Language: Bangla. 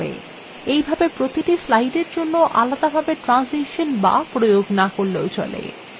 এইভাবে প্রতিটি slide জন্য আলাদাভাবে ট্রানসিসান বা প্রয়োগ না করলেও চলে